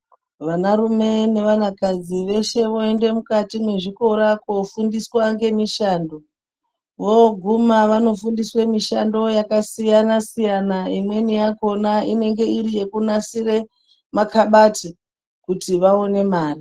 Vanarume nevanakadzi veshe voende mukati mwezvikora kuofundiswa ngemishando. Vooguma vanofundiswe mishando yakasiyana-siyana. Imweni yakona inenge iri yekunasire makabati kuti vaone mare.